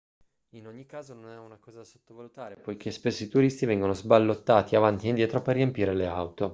in ogni caso non è una cosa da sottovalutare poiché spesso i turisti vengono sballottati avanti e indietro per riempire le auto